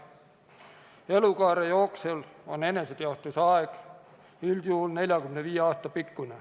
Kogu elukaare ulatuses on eneseteostuse aeg üldjuhul 45 aastat.